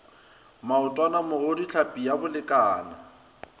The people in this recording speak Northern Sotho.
maotwana mogodu tlhapi ya bolekana